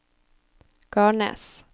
Garnes